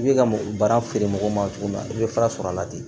I bɛ ka baara feere mɔgɔw ma cogo min na i bɛ fara sɔrɔ a la ten